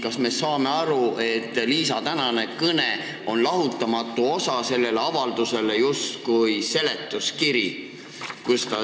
Kas me peaksime aru saama nii, et Liisa tänane kõne on selle avalduse lahutamatu osa, justkui seletuskiri?